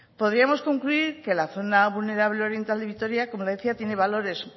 podríamos concluir que la zona vulnerable oriental de vitoria como le decía tiene valores